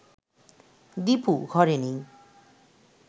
দীপু ঘরে নেই